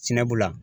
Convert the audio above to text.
Sɛnɛ bu la